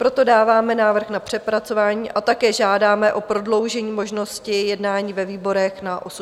Proto dáváme návrh na přepracování a také žádáme o prodloužení možnosti jednání ve výborech na 80 dní.